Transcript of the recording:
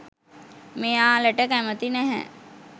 මෙයාලට කැමති නැහැ.